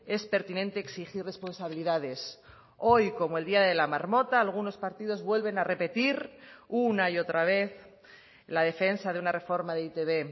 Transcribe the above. es pertinente exigir responsabilidades hoy como el día de la marmota algunos partidos vuelven a repetir una y otra vez la defensa de una reforma de e i te be